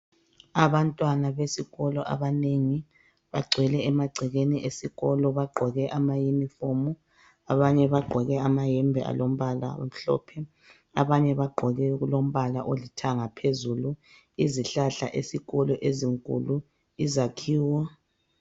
Abantwana besikolo abanengi bagcwele emagcekeni esikolo. Bagqoke amayunifomu, abanye bagqoke amayembe alombala omhlophe. Abanye bagqoke alombala olithanga phezulu. Izihlahla esikolo ezinkulu izakhiwo.